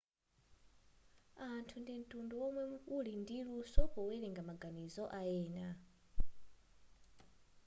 anthu ndi mtundu womwe wuli ndi luso powelenga maganizo ayena